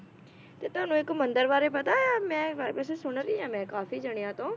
ਤੇ ਤੁਹਾਨੂੰ ਇੱਕ ਮੰਦਿਰ ਬਾਰੇ ਪਤਾ ਏ ਮੈ ਵ~ ਵੈਸੇ ਸੁਣ ਰਹੀ ਹਾਂ ਮੈਂ ਕਾਫੀ ਜਾਣਿਆਂ ਤੋਂ